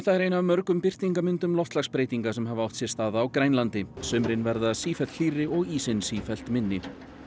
er ein af mörgum birtingarmyndum loftslagsbreytinga sem hafa átt sér stað á Grænlandi sumrin verða sífellt hlýrri og ísinn sífellt minni